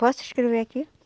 Posso escrever aqui?